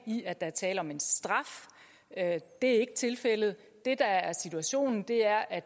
i at der er tale om en straf det er ikke tilfældet det der er situationen er at